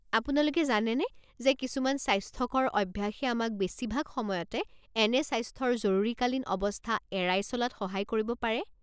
আপোনালোকে জানেনে যে কিছুমান স্বাস্থ্যকৰ অভ্যাসে আমাক বেছিভাগ সময়তে এনে স্বাস্থ্যৰ জৰুৰীকালীন অৱস্থা এৰাই চলাত সহায় কৰিব পাৰে?